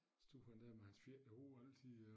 Stod han dér med hans fedtede hår altid øh